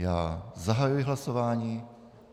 Já zahajuji hlasování.